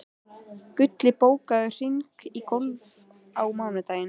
Gulli, bókaðu hring í golf á mánudaginn.